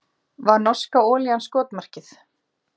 Var norska olían skotmarkið